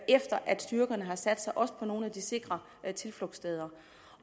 efter at styrkerne har sat sig på også nogle af de sikre tilflugtssteder